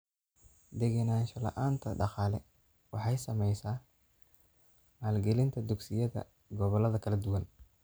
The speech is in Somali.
Degenaansho la'aanta dhaqaale waxay saamaysaa maalgelinta dugsiyada gobollada kala duwan.